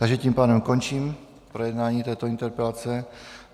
Takže tím pádem končím projednání této interpelace.